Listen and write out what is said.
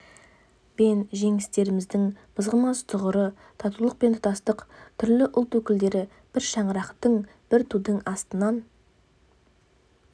бен жеңістеріміздің мызғымас тұғыры татулық пен тұтастық түрлі ұлт өкілдері бір шаңырақтың бір тудың астынан